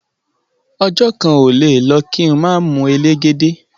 Ọjo kan ole le lo ki ma mu elegede